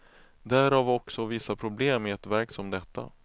Därav också vissa problem i ett verk som detta.